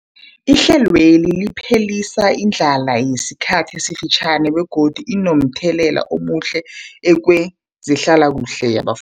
Ihlelweli liphelisa indlala yesikhathi esifitjhani begodu linomthelela omuhle kezehlalakuhle yaba